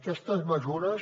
aquestes mesures